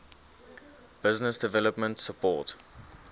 business development support